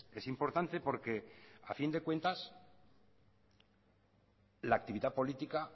es importante porque a fin de cuentas la actividad política